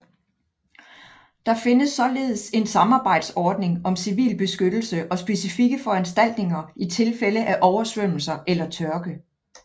Der findes således en samarbejdsordning om civilbeskyttelse og specifikke foranstaltninger i tilfælde af oversvømmelser eller tørke